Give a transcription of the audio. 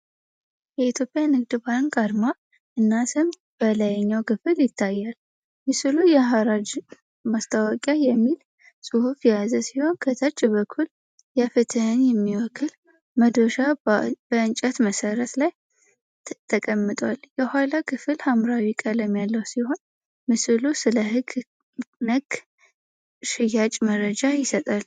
የኢትዮጵያ ንግድ ባንክ አርማ እና ስም በላይኛው ክፍል ይታያል። ምስሉ የሐራጅ ማስታወቂያ የሚል ጽሑፍ የያዘ ሲሆን፣ ከታች በኩል የፍትሕን የሚወክል መዶሻ በእንጨት መሠረት ላይ ተቀምጧል። የኋላው ክፍል ሐምራዊ ቀለም ያለው ሲሆን፣ ምስሉ ስለ ሕግ ነክ ሽያጭ መረጃ ይሰጣል።